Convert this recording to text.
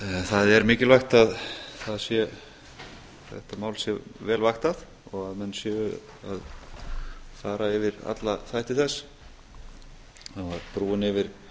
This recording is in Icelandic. það er mikilvægt að þetta mál sé vel vaktað og að menn séu að fara yfir alla þætti þess brúin yfir